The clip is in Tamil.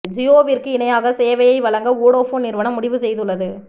ஜியோவிற்கு இணையாக சேவையை வழங்க வோடபோன் நிறுவனம் முடிவு செய்து உள்ளது